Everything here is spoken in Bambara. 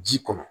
Ji kɔnɔ